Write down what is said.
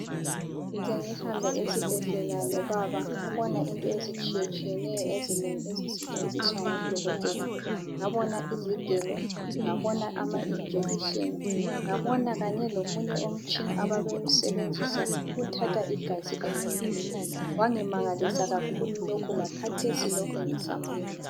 Ngize ngihambe esibhedlela lobaba ngabona into ezitshiyetshiyeneyo ezinengi ezisetshenziswa ngodokotela. Ngabona izigelo ngabona ama jekiseni ,ngabona kanye lokunye umutshina ababewusebenzisa ukuthatha igazi emuntwini.